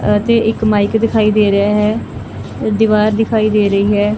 ਅਤੇ ਇੱਕ ਮਾਈਕ ਦਿਖਾਈ ਦੇ ਰਿਹਾ ਹੈ ਅ ਦੀਵਾਰ ਦਿਖਾਈ ਦੇ ਰਹੀ ਹੈ।